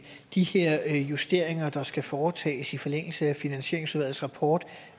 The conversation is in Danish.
de her justeringer der skal foretages i forlængelse af finansieringsudvalgets rapport